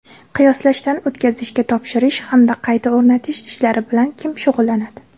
qiyoslashdan o‘tkazishga topshirish hamda qayta o‘rnatish ishlari bilan kim shug‘ullanadi?.